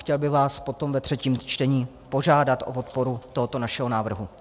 Chtěl bych vás potom ve třetím čtení požádat o podporu tohoto našeho návrhu.